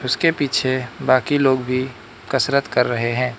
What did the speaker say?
उसके पीछे बाकी लोग भी कसरत कर रहे हैं।